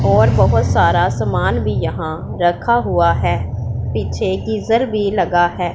और बहुत सारा सामान भी यहां रखा हुआ है पीछे गीजर भी लगा है।